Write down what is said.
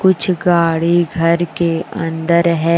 कुछ गाड़ी घर के अंदर है।